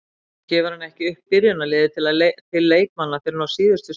Stundum gefur hann ekki upp byrjunarliðið til leikmanna fyrr en á síðustu stundu.